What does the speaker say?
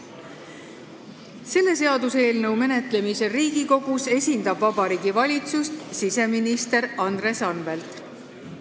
Selle seaduseelnõu menetlemisel Riigikogus esindab Vabariigi Valitsust siseminister Andres Anvelt.